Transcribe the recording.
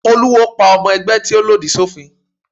Olúwo pa ọmọ ẹgbẹ́ tí ó lòdì sófin.